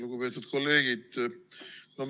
Lugupeetud kolleegid!